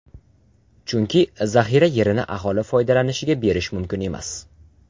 Chunki zaxira yerini aholi foydalanishiga berish mumkin emas.